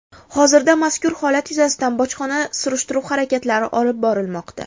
Hozirda mazkur holat yuzasidan bojxona surishtiruv harakatlari olib borilmoqda.